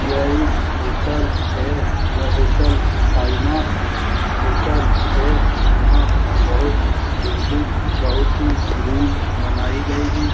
यह एक होटल है यह होटल साइ नाथ होटल है यहाँ बहुत बिल्डिंग बहुत ही रूम बनाइ गऐं हैं।